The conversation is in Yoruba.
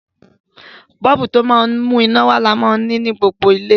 Bọ́ọ̀bù, ti o ma n mú iná wa ni a ma n rí ni gbogbo ilé